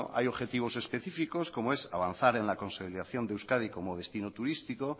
hay objetivos específicos como es avanzar en la consolidación de euskadi como destino turísticos